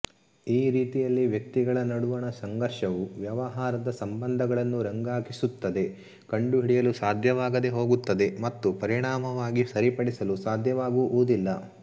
ಈ ರೀತಿಯಲ್ಲಿ ವ್ಯಕ್ತಿಗಳ ನಡುವಣ ಸಂಘರ್ಷವು ವ್ಯವಹಾರದ ಸಂಭಂಧಗಳನ್ನು ರಂಗಾಗಿಸುತ್ತದೆ ಕಂಡುಹಿಡಿಯಲು ಸಾಧ್ಯವಾಗದೇ ಹೋಗುತ್ತದೆ ಮತ್ತು ಪರಿಣಾಮವಾಗಿ ಸರಿಪಡಿಸಲು ಸಾಧ್ಯವಾಗುವುದಿಲ್ಲ